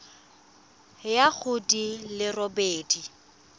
ya go di le robedi